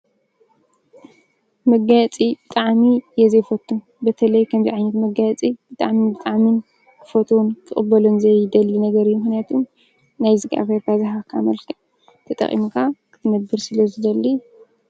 መጋየፂ ብጣዕሚ እየ ዘይፈቱ:: በተለይ ከምዙይ ዓይነት መጋየፂ ብጣዕሚ ብጣዕሚ ክፈትዎን ክቅበሎን ዘይደሊ ነገር ምኽንያቱ ናይ እግዚኣብሄርካ ዝሃበካ ንኡሽተይ ተጠቒምካ ክትነብር ስለዝደሊ ፡፡